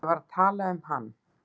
Ég var að tala um hann.